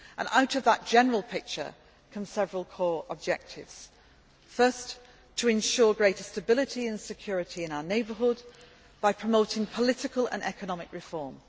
Out of that general picture come several core objectives firstly, to ensure greater stability and security in our neighbourhood, by promoting political and economic reform.